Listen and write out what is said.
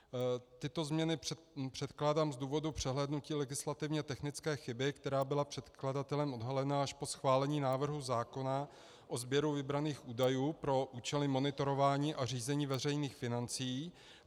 Tyto změny předkládám z důvodu přehlédnutí legislativně technické chyby, která byla předkladatelem odhalena až po schválení návrhu zákona o sběru vybraných údajů pro účely monitorování a řízení veřejných financí.